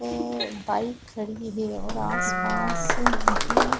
ए bike खड़ी है और आस-पास भी --